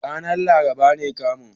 Ranar laraba ne kamun.